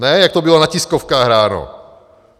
Ne jak to bylo na tiskovkách ráno.